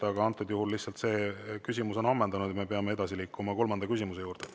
Aga antud juhul lihtsalt see küsimus on ammendunud ja me peame edasi liikuma kolmanda küsimuse juurde.